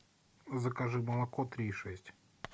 закажи молоко три и шесть